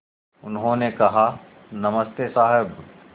उन्होंने कहा नमस्ते साहब